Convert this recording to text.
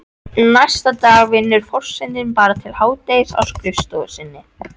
Næstu daga vinnur forsetinn bara til hádegis á skrifstofunni sinni.